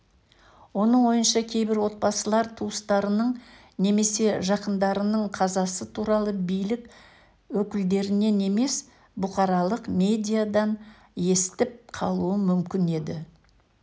оның ойынша кейбір отбасылар туыстарының немесе жақындарының қазасы туралы билік өкілдерінен емес бұқаралық медиадан естіп қалуы мүмкін еді